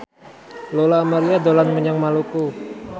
Lola Amaria dolan menyang Maluku